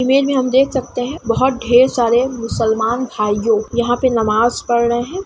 Image में हम देख सकते है बहुत ढेर सारे मुसलमान भाइयों यहाँ पे नमाज पढ़ रहे है।